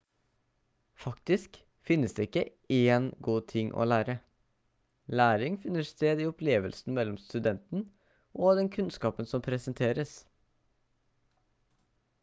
faktisk finnes det ikke én god ting å lære læring finner sted i opplevelsen mellom studenten og den kunnskapen som presenteres